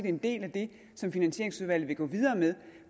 en del af det som finansieringsudvalget vil gå videre med